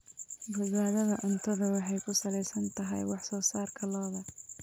Badbaadada cuntadu waxay ku salaysan tahay wax soo saarka lo'da.